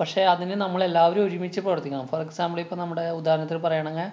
പക്ഷേ, അതിനു നമ്മളെല്ലാവരും ഒരുമിച്ചു പ്രവര്‍ത്തിക്കണം. For example ഇപ്പൊ നമ്മുടെ ഉദാഹരണത്തിന് പറയുയാണെങ്കെ